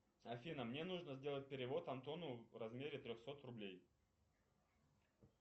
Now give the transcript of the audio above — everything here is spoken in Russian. афина мне нужно сделать перевод антону в размере трехсот рублей